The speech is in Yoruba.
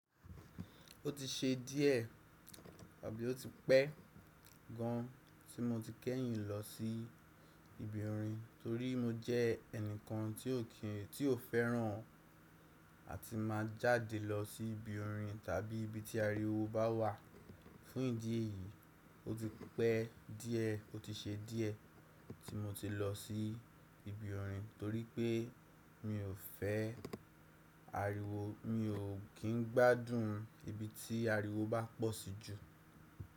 Ó ti ṣe díẹ̀ àbí ó ti pẹ́ gan tí mo ti kẹ́yìn lọ sí ibi orin torí mo jẹ́ ẹnìkan tí ò fẹ́ran àti má jáde lọ sí ibi orin tàbí ibi tí ariwo bá wà. Fún ìdí èyí, ó ti pẹ́ díẹ̀ ó ti ṣe díẹ̀ tí mo ti lọ sí ibi orin torí pé mi ò fẹ́ ariwo, mi ò kín gbádùn ibi tí ariwo bá pọ̀ sí jù.